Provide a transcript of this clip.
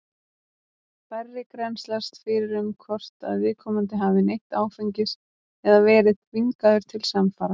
Færri grennslast fyrir um hvort að viðkomandi hafi neytt áfengis eða verið þvingaður til samfara.